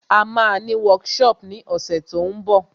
À máa ní workshop ní ọ̀sẹ̀ tó ń bọ̀